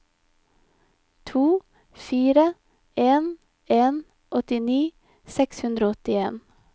to fire en en åttini seks hundre og åttien